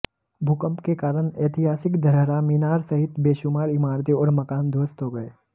भूकंप के कारण ऐतिहासिक धरहरा मीनार सहित बेशुमार इमारतें और मकान ध्वस्त हो गए